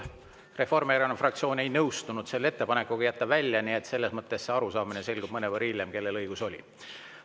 Reformierakonna fraktsioon igal juhul ei nõustunud ettepanekuga välja jätta, nii et see arusaamine, kellel õigus oli, selgub mõnevõrra hiljem.